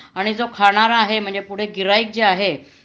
आणि जो खाणारा आहे म्हणजे पुढे गिर्हाईक जे आहे